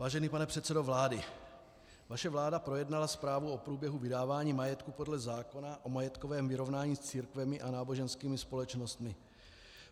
Vážený pane předsedo vlády, vaše vláda projednala zprávu o průběhu vydávání majetku podle zákona o majetkovém vyrovnání s církvemi a náboženskými společnostmi.